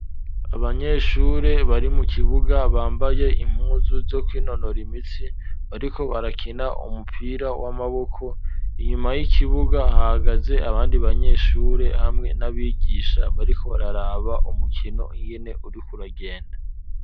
Abanyeshure, bari mu kibuga, bambaye impuzu, zo kwinonora imitsi, bariko barakina, umupira w'amaboko; inyuma y'ikibuga, hagaze abandi banyeshure, hamwe n'abigisha, bariko bararaba umukino, ingene uriko uragenda.